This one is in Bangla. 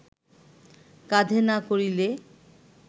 কাঁধে না করিলে